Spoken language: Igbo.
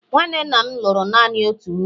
nwanne nna m lụrụ naanị otu nwunye